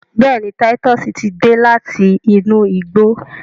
béèni Titus tí dé láti inú igbó.